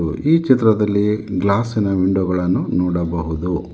ಹಾಗೂ ಈ ಚಿತ್ರದಲ್ಲಿ ಗ್ಲಾಸಿ ನ ವಿಂಡೋ ಗಳನ್ನು ನೋಡಬಹುದು.